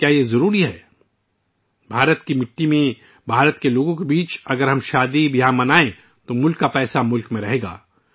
کیا یہ سب ضروری ہے؟ اگر ہم بھارتی سرزمین پر شادیوں کی خوشیاں بھارت کے لوگوں کے درمیان منائیں گے تو ملک کا پیسہ ملک میں ہی رہے گا